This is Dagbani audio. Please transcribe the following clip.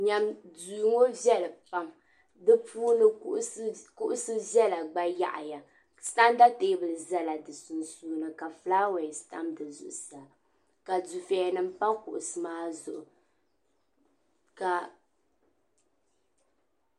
Duu ŋɔ veli pam ,di puuni kuɣu vela gba yaɣiya, santa teebuli ʒala di sun duuni ka flawese tam dizuɣu ka di feya pam pa kuɣisi maa zuɣu